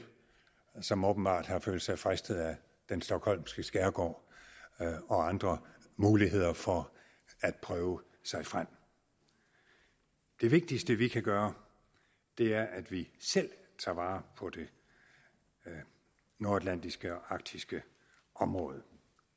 som åbenbart har følt sig fristet af den stockholmske skærgård og andre muligheder for at prøve sig frem det vigtigste vi kan gøre er at vi selv tager vare på det nordatlantiske og arktiske område